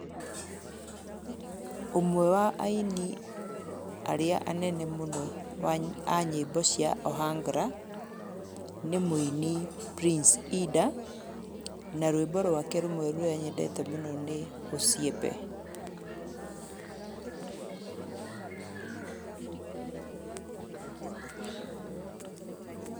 Ũmwe wa aini arĩa anene mũno a nyĩmbo cia Ohangla, nĩ mũini Prince Ida, na rwĩmbo rwake rũmwe rũrĩa nyendete mũno nĩ ũciembe.